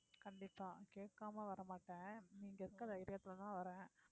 கண்டிப்பா கேட்காம வர மாட்டேன் நீங்க இருக்கிற தைரியத்திலேதான் வர்றேன்